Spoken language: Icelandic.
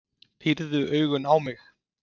Pírði augun á mig.